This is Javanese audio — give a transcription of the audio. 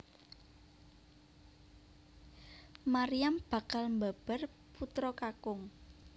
Maryam bakal mbabar putra kakung